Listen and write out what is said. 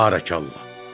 Barəkallah.